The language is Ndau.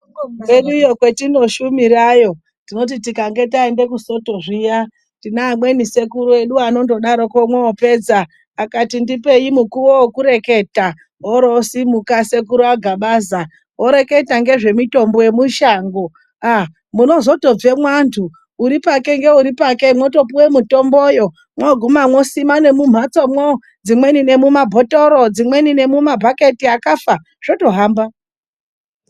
Kwedu iyo kwetinoshumirayo tinoti tikange taenda kusoto zviya, tine amweni sekuru edu anondodaroko mwoopedza, akati ndipeyi mukuwo wekureketa. Oro oosimuka sekuru aGabaza, oreketa ngezvemitombo yemushango. Aa! munozotobvemwo antu uripake ngeuripake mwotopuwe mitomboyo. Mwooguma mwosima nemumhatsomwo, dzimweni nemumabhotoro dzimweni nemumabhaketi akafa, zvitohamba.